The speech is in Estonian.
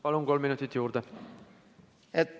Palun, kolm minutit juurde!